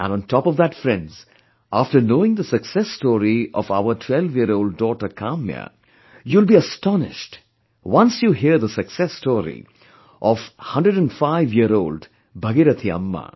And on top of that friends, after knowing the success story of our twelveyearold daughter Kamya, you will be astonished, once you hear the success story of 105yearold Bhagirathi Amma